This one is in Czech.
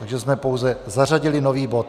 Takže jsme pouze zařadili nový bod.